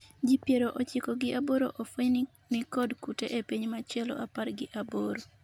ji piero ochiko gi aboro ofweny ni nikod kute e piny machielo apar gi aboro